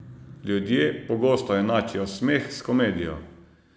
Ljudje pogosto enačijo smeh s komedijo.